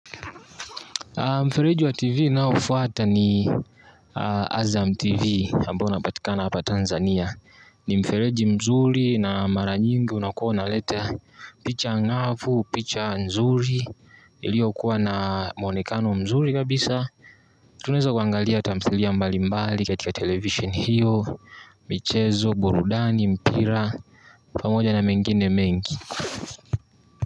Mfereji wa TV naofwata ni Azam TV ambao unapatikana hapa Tanzania. Ni mfereji mzuri na maranyingi unakuwa unaleta picha ngafu, picha nzuri, ilio kuwa na mwonekano mzuri kabisa. Tunaweza kuangalia tamthilia mbali mbali katika televisheni hio, michezo, burudani, mpira pamoja na mengine mengi.